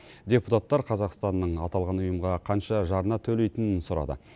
депутаттар қазақстанның аталған ұйымға қанша жарна төлейтінін сұрады